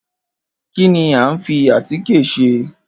Kín ni a ń fi atíkè se?